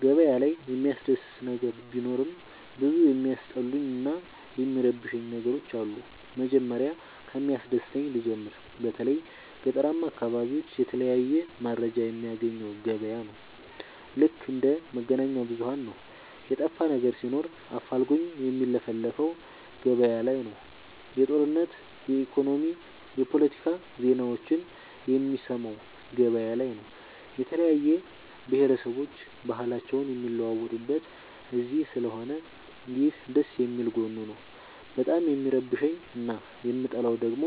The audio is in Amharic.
ገበያ ላይ የሚያስደስ ነገር ቢኖርም ብዙ የሚያስጠሉኝ እና የሚረብሸኝ ነገሮች አሉ። መጀመሪያ ከሚያስደስተኝ ልጀምር በተለይ ገጠራማ አካቢዎች የተለያየ መረጃ የሚያገኘው ገበያ ነው። ልክ እንደ መገናኛብዙኋን ነው የጠፋነገር ሲኖር አፋልጉኝ የሚለፍፈው ገበያላይ ነው። የጦርነት የኢኮኖሚ የፓለቲካ ዜናዎችን የሚሰማው ገበያ ላይ ነው። የተለያየ ብሆረሰቦች ባህልአቸውን የሚለዋወጡት እዚስለሆነ ይህ ደስየሚል ጎኑ ነው። በጣም የሚረብሸኝ እና የምጠላው ደግሞ